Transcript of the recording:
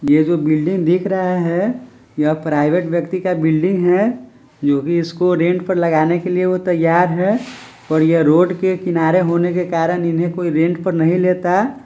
ये जो बिल्डिंग दिख रहा है यह प्राइवेट व्यक्ति का बिल्डिंग है जोकि इसको रेंट पे लगाने के लिए वो तईयार है और ये रोड के किनारे होने के कारण इन्हे कोई रेंट पर नहीं लेता--